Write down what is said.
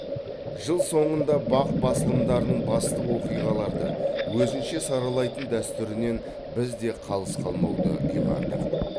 жыл соңында бақ басылымдарының басты оқиғаларды өзінше саралайтын дәстүрінен біз де қалыс қалмауды ұйғардық